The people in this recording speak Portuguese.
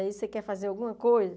Aí você quer fazer alguma coisa?